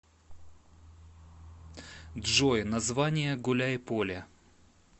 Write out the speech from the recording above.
джой название гуляйполе